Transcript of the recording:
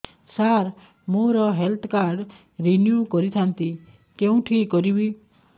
ସାର ମୋର health card renew କରିଥାନ୍ତି କେଉଁଠି କରିବି